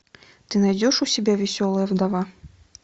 ты найдешь у себя веселая вдова